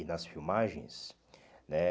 E nas filmagens, né?